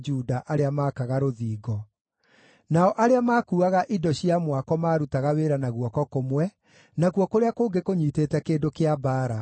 arĩa maakaga rũthingo. Nao arĩa maakuuaga indo cia mwako maarutaga wĩra na guoko kũmwe, nakuo kũrĩa kũngĩ kũnyiitĩte kĩndũ kĩa mbaara,